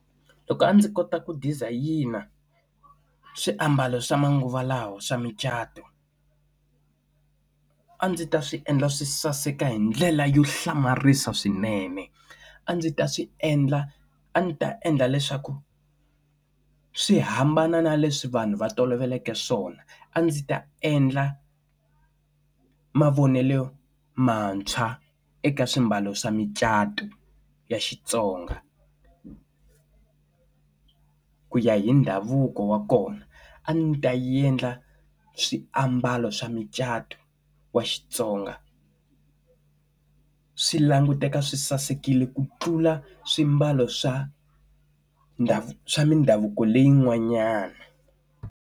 Loko a ndzi kota ku dizayina swiambalo swa manguva lawa swa mucato a ndzi ta swi endla swi saseka hi ndlela yo hlamarisa swinene a ndzi ta swi endla a ndzi ta endla leswaku swi hambana na leswi vanhu va toloveleke swona a ndzi ta endla mavonelo mantshwa eka swimbalo swa micato ya Xitsonga ku ya hi ndhavuko wa kona a ndzi ta endla swiambalo swa mucato wa Xitsonga swi languteka swi sasekile ku tlula swimbalo swa ndhavuko swa mindhavuko leyi n'wanyana.